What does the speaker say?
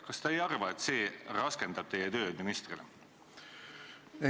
Kas te ei arva, et see raskendab teie tööd ministrina?